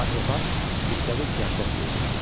Atropat müstəqil siyasət yeridirdi.